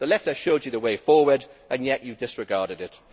The letter showed you the way forward and yet you disregarded it.